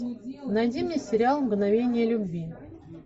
найди мне сериал мгновение любви